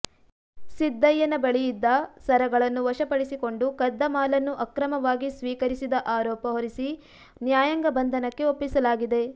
ಸಿದ್ದಯ್ಯನ ಬಳಿಯಿದ್ದ ಸರಗಳನ್ನು ವಶಪಡಿಸಿಕೊಂಡು ಕದ್ದ ಮಾಲನ್ನು ಅಕ್ರಮವಾಗಿ ಸ್ವೀಕರಿಸಿದ ಆರೋಪ ಹೊರಿಸಿ ನ್ಯಾಯಾಂಗ ಬಂಧನಕ್ಕೆ ಒಪ್ಪಿಸಲಾಗಿದೆ